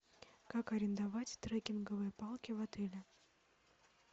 как арендовать трекинговые палки в отеле